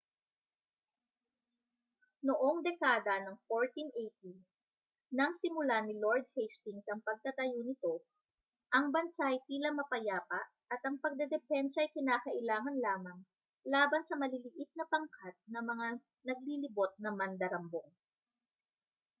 noong dekada ng 1480 nang simulan ni lord hastings ang pagtatayo nito ang bansa ay tila mapayapa at ang pagdedepensa ay kinakailangan lamang laban sa maliliit na pangkat ng mga naglilibot na mandarambong